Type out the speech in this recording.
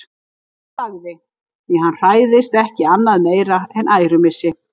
En hann þagði, því hann hræðist ekki annað meira en ærumissi.